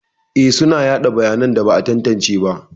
Eh, suna yada bayanan da ba a tantance ba.